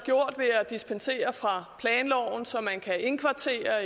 gjort ved at dispensere fra planloven så man kan indkvartere